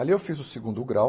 Ali eu fiz o segundo grau.